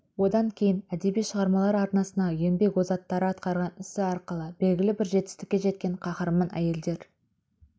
одан кейін әдеби шығармалар аренасына еңбек озаттары атқарған ісі арқылы белгілі бір жетістікке жеткен қаһарман әйелдер